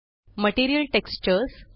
material textures